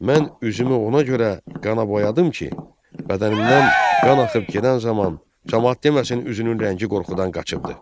Mən üzümü ona görə qana boyadım ki, bədənimdən qan axıb gedən zaman camaat deməsin üzünün rəngi qorxudan qaçıbdır".